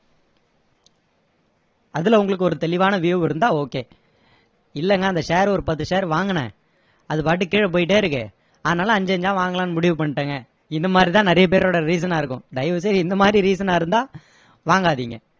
அதுல உங்களுக்கு ஒரு தெளிவான view இருந்தா okay இல்லைங்க அந்த share ஒரு பத்து share வாங்குனேன் அது பாட்டுக்கு கீழ போயிட்டே இருக்கு அதனால அஞ்சு அஞ்சா வாங்கலாம்னு முடிவு பண்ணிட்டேங்க இந்த மாதிரி தான் நிறைய பேரோட reason னா இருக்கும் தயவு செய்து இந்த மாதிரி reason னா இருந்தா வாங்காதீங்க